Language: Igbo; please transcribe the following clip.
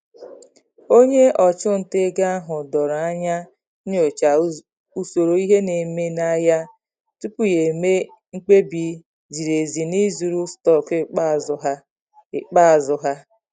Onye ọchụnta ego ahụ doro anya nyochaa usoro ihe na-eme n'ahịa tupu ya eme mkpebi ziri ezi na ịzụrụ stọkụ ikpeazụ ha. ikpeazụ ha.